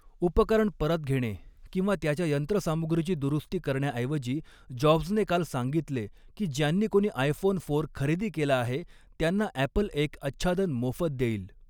उपकरण परत घेणे किंवा त्याच्या यंत्रसामुग्रीची दुरुस्ती करण्याऐवजी जॉब्जने काल सांगितले की ज्यांनी कोणी आयफोन फोर खरेदी केला आहे त्यांना ॲपल एक आच्छादन मोफत देईल.